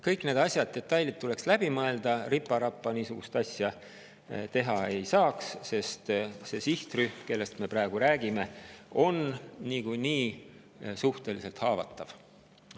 Kõik need asjad ja detailid tuleks läbi mõelda, ripa-rapa niisugust asja teha ei saa, sest see sihtrühm, kellest me praegu räägime, on niikuinii suhteliselt haavatav.